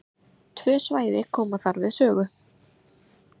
Tvö svæði koma þar við sögu.